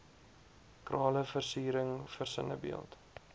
krale versiering versinnebeeld